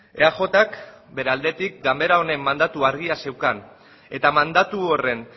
eajk bere aldetik ganbara honen mandatu argia zeukan eta mandatu horren